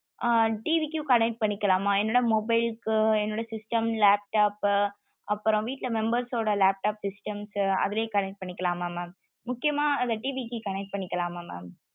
ஆஹ் TV க்கும் connect பண்ணிக்கலாமா என்னோட mobile க்கு என்னோட system laptop அப்பறம் வீட்டுல members ஊட laptop system க்கு அதுலயும் connect பண்ணிக்கலாமா mam முக்கியமா அதா TV க்கு connect பண்ணிக்கலாமா mam